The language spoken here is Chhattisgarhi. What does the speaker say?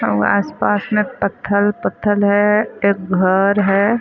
अउ आसपास में पत्थर-पत्थर अउ एक घर हे।